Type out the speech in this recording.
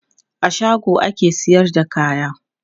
A shago ake sayar da kaya.